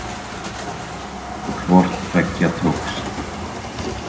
Hvort tveggja tókst.